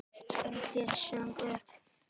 Örn leit snöggt upp.